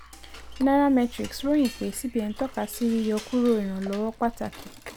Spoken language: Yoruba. nairametrics ròyin pé cbn tọka sí yíyọ kúrò ìrànlọ́wọ́ pàtàkì.